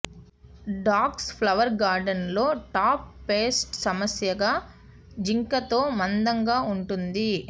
dogs flower గార్డెన్స్లో top pest సమస్యగా జింకతో మందంగా ఉంటుంది